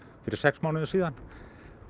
fyrir sex mánuðum